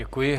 Děkuji.